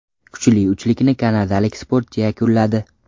Kuchli uchlikni kanadalik sportchi yakunladi.